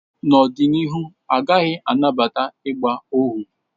N'ọdịnihu, a gaghị anabata ịgba ohu